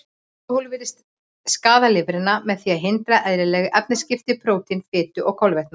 Alkóhól virðist skaða lifrina með því að hindra eðlileg efnaskipti prótína, fitu og kolvetna.